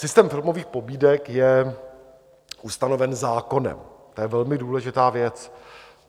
Systém filmových pobídek je ustanoven zákonem, to je velmi důležitá věc.